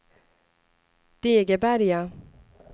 Degeberga